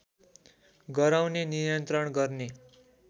गराउने नियन्त्रण गर्ने